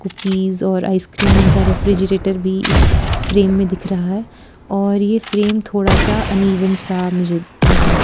Cookies और ice cream का refrigerator भी इस फ्रेम में दिख रहा है और ये फ्रेम थोड़ा सा अनइवन सा मुझे लग रहा है।